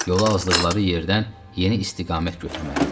Yolu azdıqları yerdən yeni istiqamət götürməli idilər.